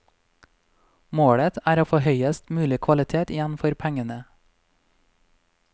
Målet er å få høyest mulig kvalitet igjen for pengene.